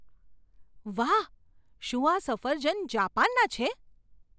વાહ! શું આ સફરજન જાપાનનાં છે?